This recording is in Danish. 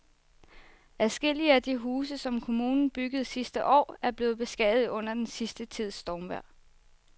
Adskillige af de huse, som kommunen byggede sidste år, er blevet beskadiget under den sidste tids stormvejr.